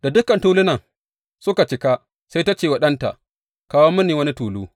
Da dukan tulunan suka cika, sai ta ce wa ɗanta, Kawo mini wani tulu.